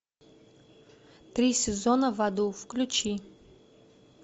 три сезона в аду включи